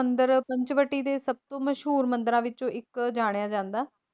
ਮੰਦਿਰ ਪੰਚਵਟੀ ਦੇ ਸਭਤੋਂ ਮਸ਼ਹੂਰ ਮੰਦਿਰਾਂ ਵਿੱਚੋਂ ਇੱਕ ਜਾਣਿਆ ਜਾਂਦਾ